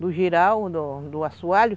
Do jirau, do assoalho.